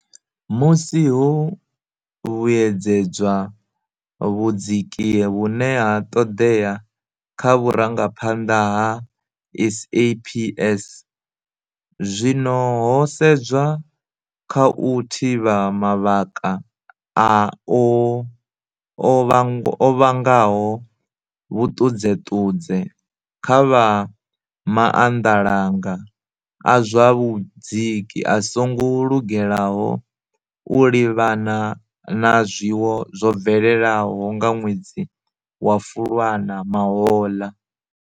Musi ho vhuedzedzwa vhudziki vhune ha ṱoḓea kha vhurangaphanḓa ha SAPS, zwino ho sedzwa kha u thivha mavhaka o vhangaho vhuṱudzeṱudze kha vha maanḓalanga a zwa vhudziki a songo lugelaho u livhana na zwiwo zwo bvelelaho nga nwedzi wa Fulwana mahoḽa.